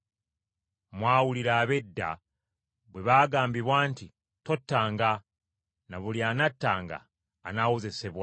“Mwawulira ab’edda bwe baagambibwa nti, ‘Tottanga, na buli anattanga, anaawozesebwa.’